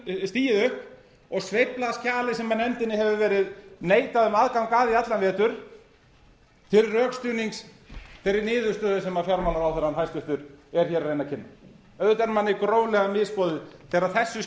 stigið upp og sveiflað skjali sem nefndinni eru verið neitað um aðgang að í allan vetur til rökstuðnings þeirri niðurstöðu sem fjármálaráðherrann hæstvirtur er hér að reyna að kynna auðvitað er manni gróflega misboðið þegar þessu